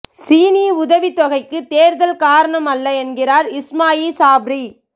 சீனி உதவித் தொகைக்கு தேர்தல் காரணம் அல்ல என்கிறார் இஸ்மாயில் சாப்ரி